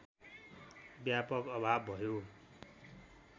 व्यापक अभाव भयो